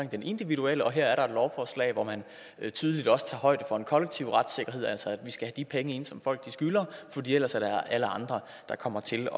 den individuelle og her er der et lovforslag hvor man tydeligt også tager højde for den kollektive retssikkerhed altså at vi skal have de penge ind som folk skylder fordi ellers er det alle andre der kommer til